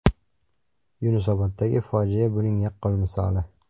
Yunusoboddagi fojia buning yaqqol misoli”.